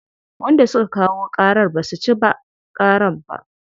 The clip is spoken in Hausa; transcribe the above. Wanda suka kayo ƙarar basu ci ba ƙarar ba.